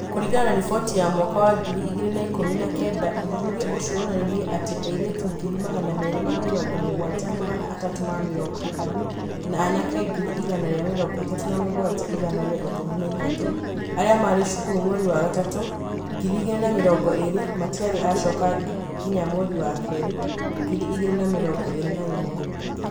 Kũringana na riboti ya mwaka wa ngiri igĩrĩ na ikũmi na kenda, ũthuthuria ũcio wonanirie atĩ airĩtu ngiri magana merĩ ma mĩrongo mugwanja magana atatu ma mĩrongo ĩtano na anake ngiri igana rĩa mĩrongo ĩtatũ na mũgwanja igana ria ikũmi na ithatũ arĩa maarĩ cukuru mweri wa gatatũ, ngiri igĩrĩ na mĩrongo ĩrĩ matiarĩ acoka nginya mweri wa kerĩ, ngiri igĩrĩ na mĩrongo ĩrĩ na ĩmwe.